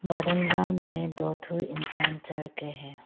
बरांडा में दो ठो इंसान चढ़ के है।